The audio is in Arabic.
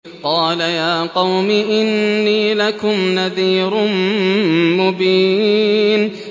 قَالَ يَا قَوْمِ إِنِّي لَكُمْ نَذِيرٌ مُّبِينٌ